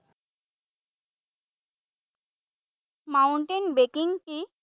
Mountain biking কি?